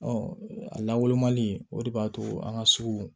a lawolo mali o de b'a to an ka sugu